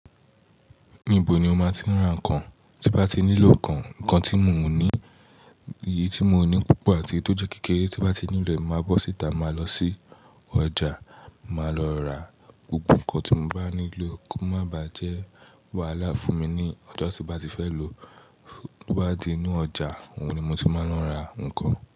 Níbo ni ó máa ti ń ra nǹkan tí bá ti nílò kan, nǹkan tí mio ní, èyí tí mio ní púpọ̀ àti èyí tó jẹ́ kékeré tí bá ti nílo e máa bọ́ síta, mo máa lọ sí ọjà, máa lọ ra gbogbo nǹkan tí mo bá nílò kó má ba jẹ́ wàhálà fún mi ní ọjọ́ tí mo bá ti fẹ́ lòó. Ó wá di inú ọjà, òun ni mo ti máa ń lọ ra nǹkan.